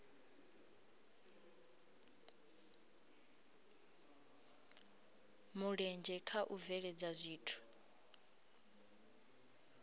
mulenzhe kha u bveledza zwithu